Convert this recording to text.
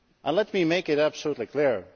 Let me make it absolutely clear.